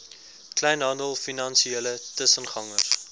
kleinhandel finansiële tussengangers